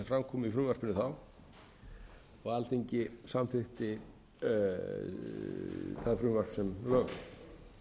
fram komu í frumvarpinu þá og alþingi samþykkti það frumvarp sem lög